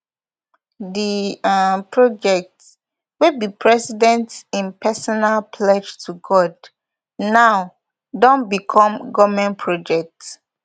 di um project wia be di president im personal pledge to god now don become goment project